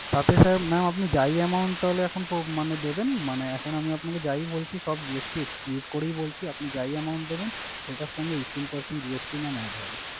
তাছাড়া mam আপনি যাই amount তাহলে এখন মানে দেবেন মানে এখন আমি আপনাকে যাই বলছি সব GST exclude করেই বলছি। আপনি যাই amount দেবেন সেটার সঙ্গে eighteen percent GST mam add হবে।